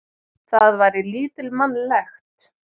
Það væri lítilmannlegt.